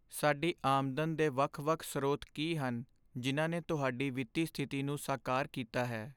ਸਾਡੀ ਆਮਦਨ ਦੇ ਵੱਖ ਵੱਖ ਸਰੋਤ ਕੀ ਹਨ ਜਿਨ੍ਹਾਂ ਨੇ ਤੁਹਾਡੀ ਵਿੱਤੀ ਸਥਿਤੀ ਨੂੰ ਸਾਕਾਰ ਕੀਤਾ ਹੈ?